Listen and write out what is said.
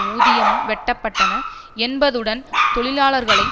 ஊதியமும் வெட்டப்பட்டன என்பதுடன் தொழிலாளர்களை